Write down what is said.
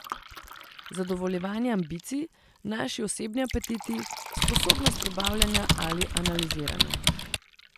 Zadovoljevanje ambicij, naši osebni apetiti, sposobnost prebavljanja ali analiziranja.